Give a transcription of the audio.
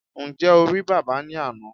Ǹjẹ́ o rí bábà ní àná?